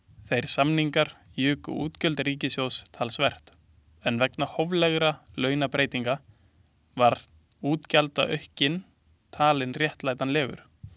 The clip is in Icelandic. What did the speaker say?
Þeir samningar juku útgjöld ríkissjóðs talsvert en vegna hóflegra launabreytinga var útgjaldaaukinn talinn réttlætanlegur.